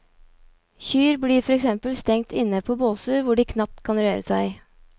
Kyr blir for eksempel stengt inne på båser hvor de knapt kan røre seg.